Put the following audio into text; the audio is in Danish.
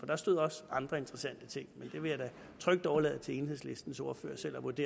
der stod også andre interessante ting men jeg vil trygt overlade til enhedslistens ordfører selv at vurdere